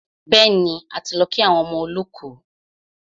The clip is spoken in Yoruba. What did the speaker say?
Bẹ́ẹ̀ni, a ti lọ kí àwọn ọmọ olọ́kù.